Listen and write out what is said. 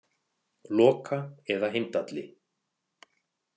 Loka eða Heimdalli.